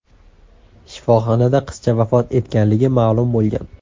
Shifoxonada qizcha vafot etganligi ma’lum bo‘lgan.